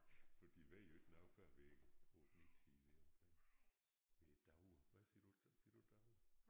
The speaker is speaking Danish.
For de ved jo ikke noget før ved 8 9 tiden deromkring ved davre hvad siger du siger du davre?